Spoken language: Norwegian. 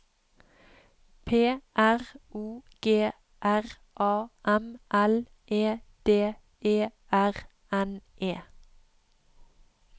P R O G R A M L E D E R N E